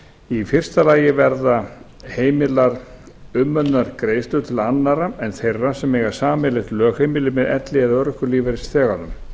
í fyrsta lagi verða heimilar umönnunargreiðslur til annarra en þeirra sem eiga sameiginlegt lögheimili með elli eða örorkulífeyrisþeganum og